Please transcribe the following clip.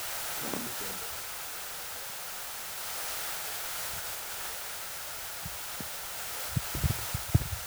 Jamni bende itiyo godo e nyasi ma opogore opogore kaluwore gi chal mar gwenge